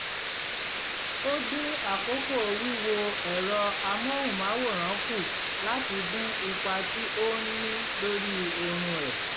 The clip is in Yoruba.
ó dín àkókò wíwo ẹ̀rọ amóhùnmáwòrán kù láti dín ipa tí ó ń ní lórí oorun ẹ̀